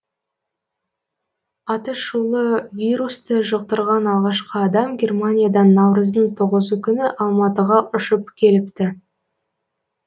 атышулы вирусты жұқтырған алғашқы адам германиядан наурыздың тоғызы күні алматыға ұшып келіпті